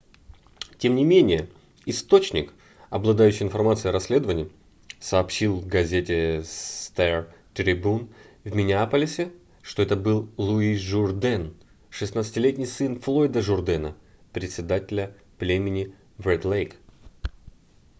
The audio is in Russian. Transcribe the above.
тем не менее источник обладающий информацией о расследовании сообщил газете star-tribune в миннеаполисе что это был луи журден 16-летний сын флойда журдена председателя племени в ред-лейк